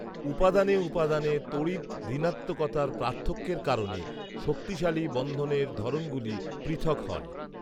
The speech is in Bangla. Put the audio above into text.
উপাদানে উপাদানে তড়িৎঋনাত্মকতার পার্থক্যের কারণে শক্তিশালী বন্ধনের ধরণগুলি পৃথক হয়